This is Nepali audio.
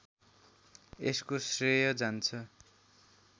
यसको श्रेय जान्छ